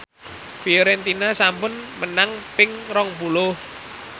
Fiorentina sampun menang ping rong puluh